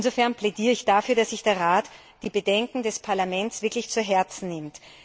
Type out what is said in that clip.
Insofern plädiere ich dafür, dass sich der Rat die Bedenken des Parlaments wirklich zu Herzen nimmt.